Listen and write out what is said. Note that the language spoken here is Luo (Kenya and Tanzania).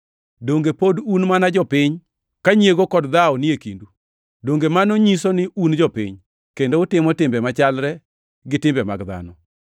Donge pod un mana jopiny ka nyiego kod dhawo ni e kindu? Donge mano nyiso ni un jopiny kendo utimo timbe machalre gi timbe mag dhano?